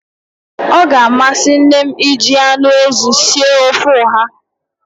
Ọ ga-amasị nne m iji anụ ezi sie ofe ọha